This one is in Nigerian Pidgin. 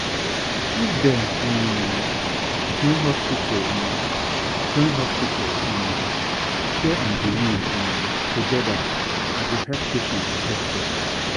if dem um join hospital um join hospital um care and belief um together e go help patients get better.